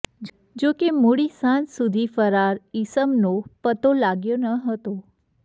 જોકે મોડી સાંજ સુધી ફરાર ઇસમનો પતો લાગ્યો ન હતો